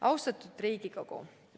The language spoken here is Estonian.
Austatud Riigikogu!